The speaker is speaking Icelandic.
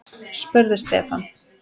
spurði Stefán.